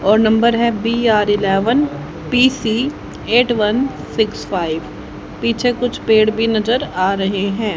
और नंबर है B R eleven P C eight one six five पीछे कुछ पेड़ भी नजर आ रहे है।